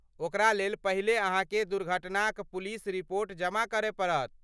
ओकरा लेल पहिले अहाँके दुर्घटनाक पुलिस रिपोर्ट जमा करय पड़त।